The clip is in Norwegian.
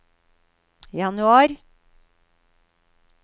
januar